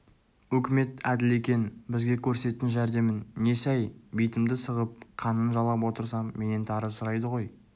өкімет әділ екен бізге көрсетсін жәрдемін несі-әй битімді сығып қанын жалап отырсам менен тары сұрайды ғой